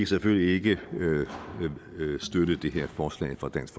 selvfølgelig ikke støtte det her forslag fra dansk